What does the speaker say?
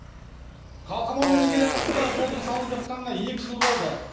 қалқаман мен іргелі арасындағы жолдың салынып жатқанына екі жыл болды